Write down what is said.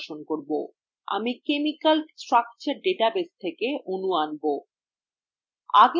আমি chemical structure database থেকে অণু আনব